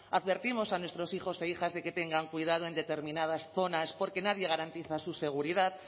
advertimos a nuestros hijos e hijas de que tengan cuidado en determinadas zonas porque nadie garantiza su seguridad